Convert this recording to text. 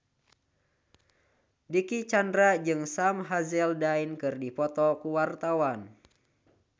Dicky Chandra jeung Sam Hazeldine keur dipoto ku wartawan